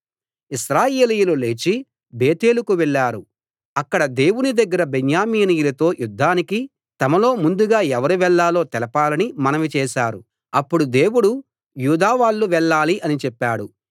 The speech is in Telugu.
ఇశ్రాయేలీయులు లేచి బేతేలుకు వెళ్ళారు అక్కడ దేవుని దగ్గర బెన్యామీనీయులతో యుద్ధానికి తమలో ముందుగా ఎవరు వెళ్ళాలో తెలపాలని మనవి చేశారు అప్పుడు దేవుడు యూదా వాళ్ళు వెళ్ళాలి అని చెప్పాడు